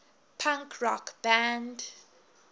punk rock band